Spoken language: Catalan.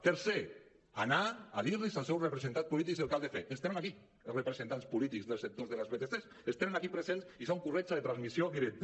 tercer anar a dir los als seus representants polítics el que han de fer que els tenen aquí els representants polítics dels sectors de les vtcs els tenen aquí presents i són corretja de transmissió directa